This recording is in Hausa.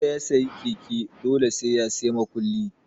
Tun da ya sayi keke, dole sai ya sayi makulli